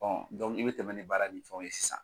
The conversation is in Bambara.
i bɛ tɛmɛ ni baara ni fɛnw ye sisan.